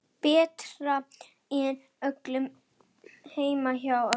Betra en hjá öllum hinum.